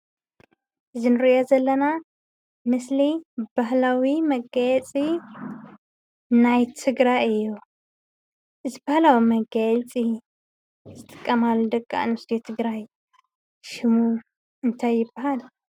እዚ እንሪኦ ዘለና ምስሊ ባህላዊ መጋፂናይ ትግራይ እዩ:: እዚ ባህላዊ መጋየፂ ዝጥቀማሉ ደቂ አንስትዮ ትግራይ ሽሙ እንታይ ይባሃል ?